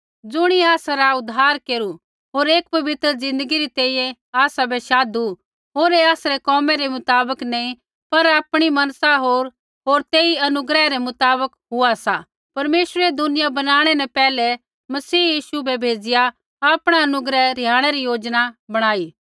ज़ुणियै आसरा उद्धार केरू होर एक पवित्र ज़िन्दगी री तैंईंयैं आसाबै शाधु होर ऐ आसरै कोमै रै मुताबक नी पर आपणी मनसा होर तेई अनुग्रह रै मुताबक हुआ सा परमेश्वरै दुनिया बनाणै न पैहलै ही मसीह यीशु बै भेज़िआ आपणा अनुग्रह रिहाणै री योजना बणाई